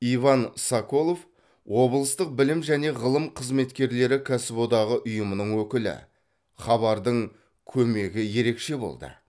иван соколов облыстық білім және ғылым қызметкерлері кәсіподағы ұйымының өкілі хабардың көмегі ерекше болды